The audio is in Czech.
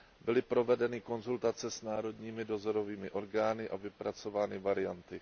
Byly provedeny konzultace s národními dozorovými orgány a vypracovány varianty.